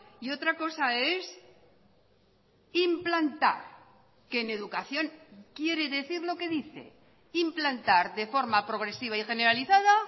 y otra cosa es implantar que en educación quiere decir lo que dice implantar de forma progresiva y generalizada